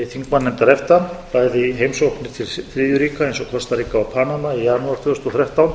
þingmannanefndar efta bæði heimsóknir til þriðju ríkja eins og kostaríka og panama í janúar tvö þúsund og þrettán